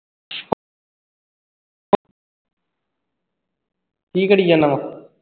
ਕੀ ਕਰੀ ਜਾਨਾ ਵਾਂ?